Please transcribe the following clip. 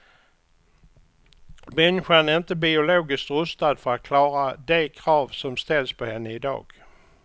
Människan är inte biologiskt rustad för att klara de krav som ställs på henne i dag.